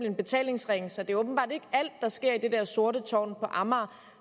en betalingsring så det var åbenbart ikke alt der skete i det der sorte tårn på amager